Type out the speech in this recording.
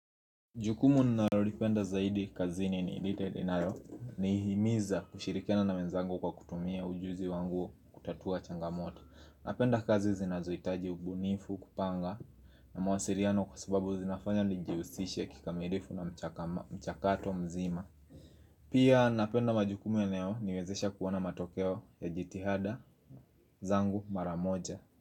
Jukumu ninalolipenda zaidi kazini ni lileninayo nihimiza kushirikiana na wenzangu kwa kutumia ujuzi wangu kutatua changamoto napenda kazi zinazohitaji ubunifu kupanga na masiliano kwa sababu zinafanya nijihusishe kikamilifu na mchakato mzima Pia napenda majukumu yanayoniwezesha kuona matokeo ya jitihada zangu maramoja.